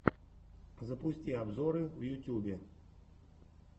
запусти обзоры в ютьюбе